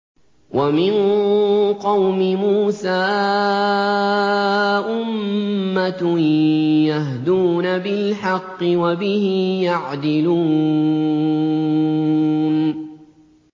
وَمِن قَوْمِ مُوسَىٰ أُمَّةٌ يَهْدُونَ بِالْحَقِّ وَبِهِ يَعْدِلُونَ